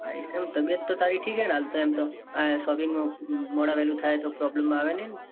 આયિસ એમ તબિયત તો તારી ઠીક છે. ને હાલ તો એમ તો shopping માં મોડા વેલુ થાય. ન તો problem આવે નાઈ ન.